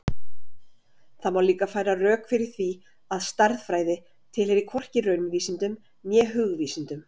Það má líka færa rök fyrir því að stærðfræði tilheyri hvorki raunvísindum né hugvísindum.